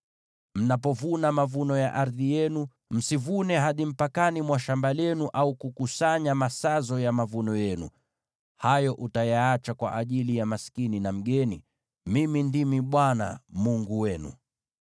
“ ‘Mnapovuna mavuno ya ardhi yenu, msivune hadi mpakani mwa shamba lenu, au kukusanya masazo ya mavuno yenu. Hayo utayaacha kwa ajili ya maskini na mgeni. Mimi ndimi Bwana Mungu wenu.’ ”